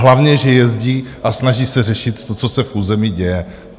Hlavně že jezdí a snaží se řešit to, co se v území děje.